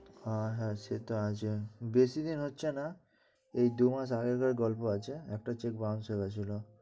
আহ হ্যাঁ, সেটা আছে বেশিদিন হচ্ছে না, এই দুমাস আগেকার গল্প আছে। একটা check bounce হয়েছিলো।